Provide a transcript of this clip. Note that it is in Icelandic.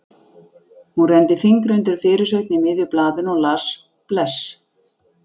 Hún renndi fingri undir fyrirsögn í miðju blaðinu og las: Bless!